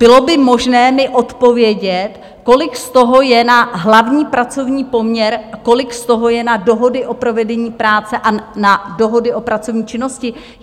Bylo by možné mi odpovědět, kolik z toho je na hlavní pracovní poměr, kolik z toho je na dohody o provedení práce a na dohody o pracovní činnosti?